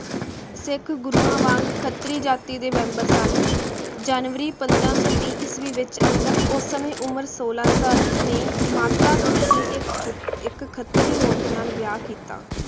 ਸਿਖ ਗੁਰੁਵਾਂ ਵਾਂਗ ਖਤ੍ਰੀ ਜਾਤੀ ਦੇ ਵੇਮ੍ਬਰ ਹਨ ਜਨਵਰੀ ਪੰਦਰਾਂ ਸੋ ਵੀ ਈਸਵੀ ਵਿਚ ਅਨ੍ਗਤ ਓਸ ਸਮੇ ਉਮਰ ਸੋਲਾਂ ਸਾਲ ਨਾਲ ਮਾਤਾ ਖੀਵੀ ਇਕ ਪੁਤ ਇਕ ਖਤ੍ਰੀ ਔਰਤ ਨਾਲ ਵਿਯਾਹ ਕੀਤਾ